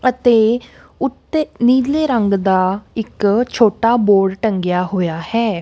ਅਤੇ ਉੱਤੇ ਨੀਲੇ ਰੰਗ ਦਾ ਇੱਕ ਛੋਟਾ ਬੋਰਡ ਟੰਗੇਆ ਹੋਏ ਆ ਹੈ।